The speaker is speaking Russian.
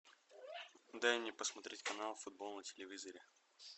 дай мне посмотреть канал футбол на телевизоре